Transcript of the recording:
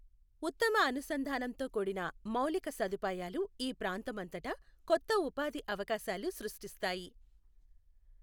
ఉత్తమ అనుసంధానంతో కూడిన మౌలిక సదుపాయాలు ఈ ప్రాంతమంతటా కొత్త ఉపాధి అవకాశాలు సృష్టిస్తాయి